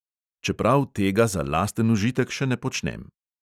Čeprav tega za lasten užitek še ne počnem.